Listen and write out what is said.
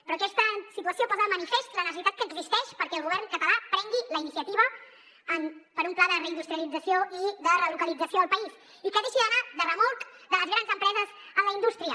però aquesta situació posa de manifest la necessitat que existeix perquè el govern català prengui la iniciativa per un pla de reindustrialització i de relocalització al país i que deixi d’anar de remolc de les grans empreses en la indústria